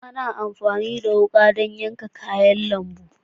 Ana amfani da wuƙa don yanke yanke kayan lambu.